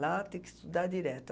Lá tem que estudar direto.